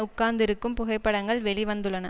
உட்கார்ந்திருக்கும் புகைப்படங்கள் வெளி வந்துள்ளன